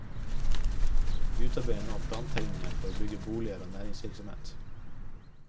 Vi utarbeider nå plantegninger for å bygge boliger og næringsvirksomhet.